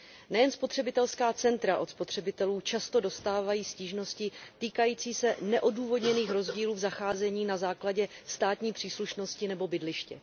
Nejen spotřebitelská centra od spotřebitelů často dostávají stížnosti týkající se neodůvodněných rozdílů v zacházení na základě státní příslušnosti nebo bydliště.